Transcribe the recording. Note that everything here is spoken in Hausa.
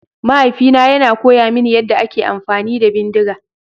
Mahaifina yana koya mini yadda ake amfani da bindiga.